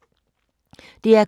DR K